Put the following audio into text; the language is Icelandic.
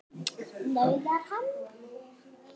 nauðar hann.